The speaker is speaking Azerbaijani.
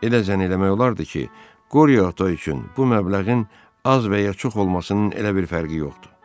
Elə zənn eləmək olardı ki, Qoryo ata üçün bu məbləğin az və ya çox olmasının elə bir fərqi yoxdu.